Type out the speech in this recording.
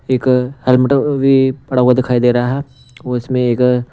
एक हेलमेट भी पड़ा हुआ दिखाई दे रहा है और इसमें एक--